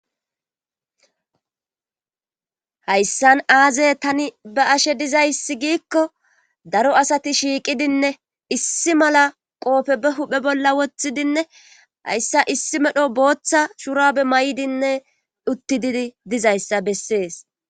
hayssan aaze tani ba ashe dizayssi giikko daro asati shiiqidinne issi mala qoofe be huphe bolla woththidinne hayssa issi medho booththa shurabe may7dinne uttididi dizayssa bessees